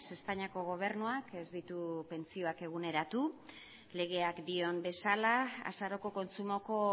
espainiako gobernuak ez ditu pentsioak eguneratu legeak dion bezala azaroko kontsumoko